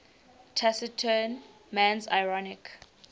taciturn man's ironic